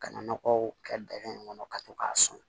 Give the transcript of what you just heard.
Ka na nɔgɔw kɛ dingɛ in kɔnɔ ka to k'a sɔn